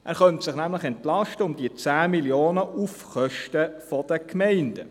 Er könnte sich nämlich um diese 10 Mio. Franken entlasten, auf Kosten der Gemeinden.